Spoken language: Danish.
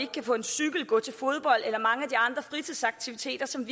kan få en cykel gå til fodbold eller mange af de andre fritidsaktiviteter som